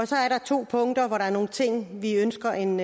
så er der to punkter hvor der er nogle ting vi ønsker en